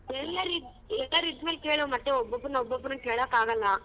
ಎಲ್ಲರಿ~ ಎಲ್ಲರಿದ್ದ ಮೇಲ ಕೇಳು ಮತ್ತೆ ಒಬ್ಬೊಬ್ಬರನ್ ಒಬ್ಬೊಬ್ಬರನ್ ಕೇಳೋಕಾಗಲ್ಲ.